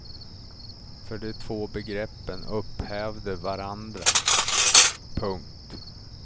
För de två begreppen upphävde varandra. punkt